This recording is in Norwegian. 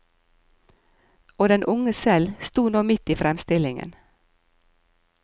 Og den unge selv sto nå midt i fremstillingen.